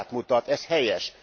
Példát mutat, ez helyes.